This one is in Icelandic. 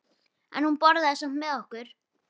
En hún borðaði samt með okkur.